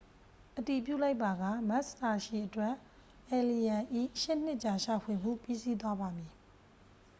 အတည်ပြုလိုက်ပါက မက်စ်စာရှီအတွက် အယ်လီရန်၏ ရှစ်နှစ်ကြာရှာဖွေမှု ပြီးစီးသွားပါမည်